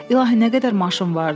İlahi, nə qədər maşın vardı?